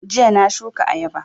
Jiya na shuka ayaba